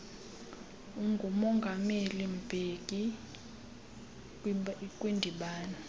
ngumongameli mbeki kwindibano